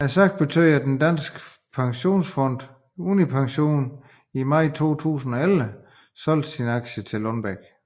Sagen betød af den danske pensionsfund Unipension i maj 2011 solgte sine aktier i Lundbeck